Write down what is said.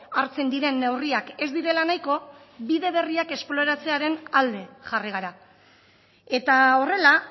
hartzen diren neurriak ez direla nahiko bide berriak esploratzearen alde jarri gara eta horrela